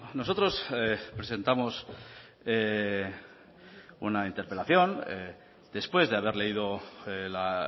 nosotros presentamos una interpelación después de haber leído la